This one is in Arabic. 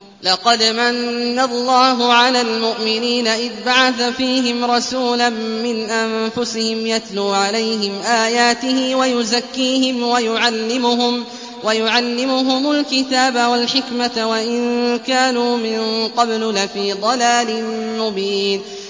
لَقَدْ مَنَّ اللَّهُ عَلَى الْمُؤْمِنِينَ إِذْ بَعَثَ فِيهِمْ رَسُولًا مِّنْ أَنفُسِهِمْ يَتْلُو عَلَيْهِمْ آيَاتِهِ وَيُزَكِّيهِمْ وَيُعَلِّمُهُمُ الْكِتَابَ وَالْحِكْمَةَ وَإِن كَانُوا مِن قَبْلُ لَفِي ضَلَالٍ مُّبِينٍ